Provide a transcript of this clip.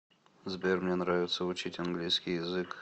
сбер мне нравится учить английский язык